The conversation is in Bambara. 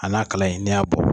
A n'a kala in n'i y'a bɔ.